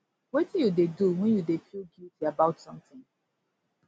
wetin you dey do when you dey feel guilty about something